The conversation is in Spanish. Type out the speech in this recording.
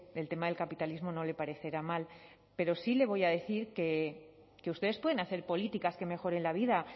el tema del capitalismo no le parecerá mal pero sí le voy a decir que ustedes pueden hacer políticas que mejoren la vida